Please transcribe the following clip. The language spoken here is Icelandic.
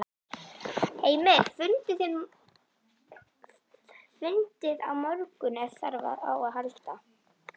Heimir: Fundið á morgun ef þarf á að halda?